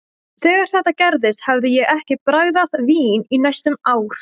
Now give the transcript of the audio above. Þegar þetta gerðist hafði ég ekki bragðað vín í næstum ár.